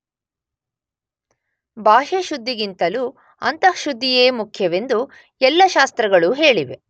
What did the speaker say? ಬಾಹ್ಯ ಶುದ್ಧಿಗಿಂತಲೂ ಅಂತಃಶುದ್ಧಿಯೇ ಮುಖ್ಯವೆಂದು ಎಲ್ಲ ಶಾಸ್ತ್ರಗಳೂ ಹೇಳಿವೆ.